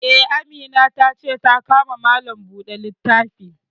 Eh, Amina ta ce ta ka ma Malam buɗe littafi